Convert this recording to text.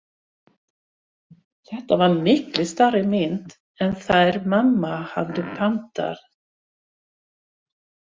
Þetta var miklu stærri mynd en þær mamma höfðu pantað.